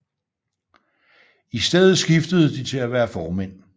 I stedet skiftede de til at være formænd